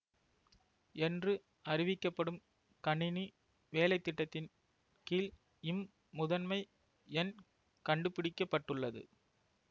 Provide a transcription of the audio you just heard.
என்று அறிவிக்கப்படும் கணினி வேலை திட்டத்தின் கீழ் இம் முதன்மை எண் கண்டுபிடிக்க பட்டுள்ளது